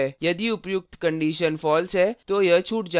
यदि उपर्युक्त condition false है तो यह छूट जाता है